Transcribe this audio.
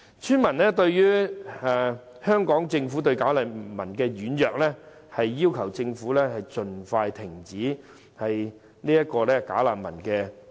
村民認為香港政府對"假難民"軟弱，要求政府盡快停收及送走這些"假難民"。